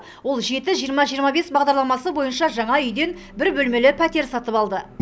ол жеті жиырма жиырма бес бағдарламасы бойынша жаңа үйден бір бөлмелі пәтер сатып алды